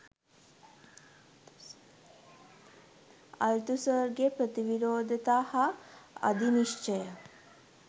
අල්තුසර්ගේ ප්‍රතිවිරෝධතා හා අධිනිශ්චය